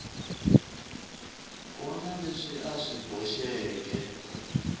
wana leswi a swi boxeke